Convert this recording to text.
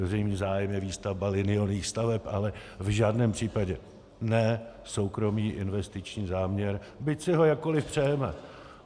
Veřejný zájem je výstavba liniových staveb, ale v žádném případě ne soukromý investiční záměr, byť si ho jakkoliv přejeme.